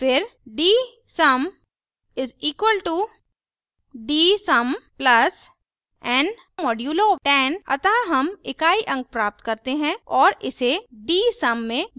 फिर dsum = dsum + n % 10 अतः हम इकाई अंक प्राप्त करते हैं और इसे dsum में जोड़ देते हैं